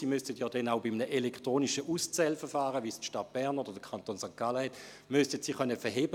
Auch müssten sie einem elektronischen Auszählverfahren, wie es die Stadt Bern oder der Kanton St. Gallen haben, standhalten.